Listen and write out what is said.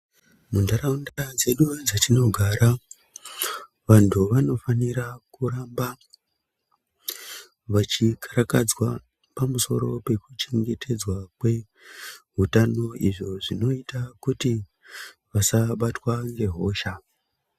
Muntaraunda dzedu dzetinogara vantu vanofanira kuramba vechikarakadzwa pamusoro pekuchengetedzwa kweutano izvo zvinoita kuti vasabatwa ngehosha.